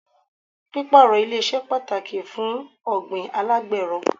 Pípàrọ̀ ilẹ̀ ṣe pàtàkì fún ọ̀gbìn alágbẹ́rọ.